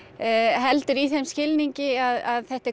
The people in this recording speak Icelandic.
heldur í þeim skilningi að þetta er